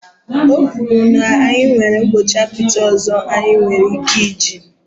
O kwuru na ya nwere mgbọchi apịtị ọzọ anyị nwere ike iji